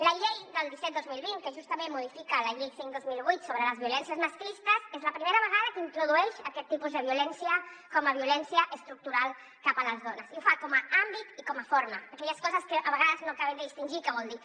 la llei disset dos mil vint que justament modifica la llei cinc dos mil vuit sobre les violències masclistes és la primera vegada que introdueix aquest tipus de violència com a violència estructural cap a les dones i ho fa com a àmbit i com a forma aquelles coses que a vegades no acabem de distingir què volen dir